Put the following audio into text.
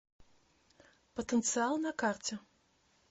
потенциал на карте